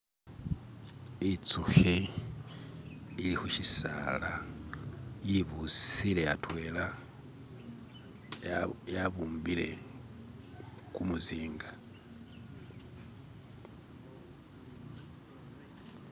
itsuhi ili hushisaala yibusile atwela yabumbile kumuzinga